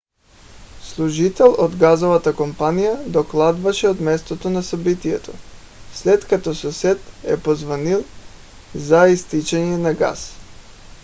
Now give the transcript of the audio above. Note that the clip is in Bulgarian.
служител от газовата компания докладваше от мястото на събитието след като съсед е позвънил за изтичане на газ